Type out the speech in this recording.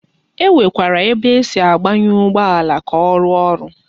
E Nwekwara ebe esi agbanye Ugbo ala, ka o ruo oru